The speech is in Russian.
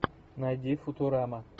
найди футурама